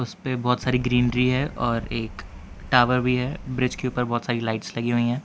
इस पे बहोत सारी ग्रीनरी है और एक टॉवर भी है ब्रिज के ऊपर बहुत सारी लाइट्स लगी हुई हैं।